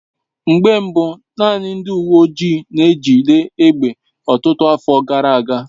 Mgbe mbu naanị ndị uwe ojii n'ejide egbe ọtụtụ afọ gara aga.